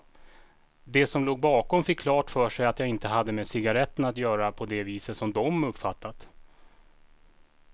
De som låg bakom fick klart för sig att jag inte hade med cigaretterna att göra på det viset som de uppfattat.